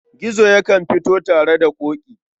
Gizo yakan fito tare da Ƙoƙi.